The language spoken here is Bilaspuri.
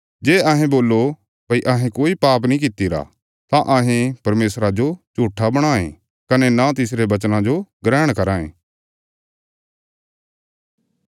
जे अहें बोल्लो भई अहें कोई पाप नीं कित्तिरा तां अहें परमेशरा जो झूट्ठा बणायें कने न तिसरे वचना जो ग्रहण कराँ ये